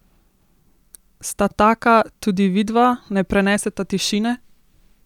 Sta taka tudi vidva, ne preneseta tišine?